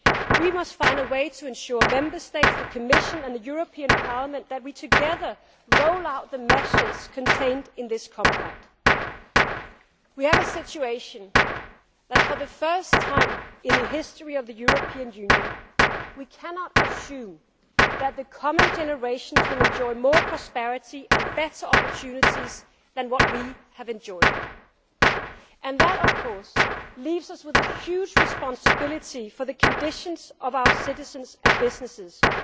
paper into practical reality. We must find a way to ensure that together Member States, the Commission and the European Parliament we roll out the measures contained in the Compact. We have a situation in which, for the first time in the history of the European Union, we cannot assume that the coming generations will enjoy more prosperity and better opportunities than we have enjoyed. That, of course, leaves us with a huge responsibility for the conditions of our